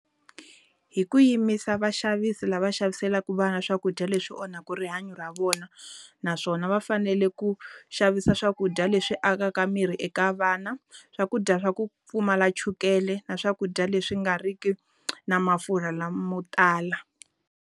Hi ku yimisa vaxavisi lava xaviselaka vana swakudya leswi onhaka rihanyo ra vona. Naswona va fanele ku xavisa swakudya leswi akaka miri eka vana. Swakudya swa ku pfumala chukele, na swakudya leswi nga ri ki na mafurha lamotala.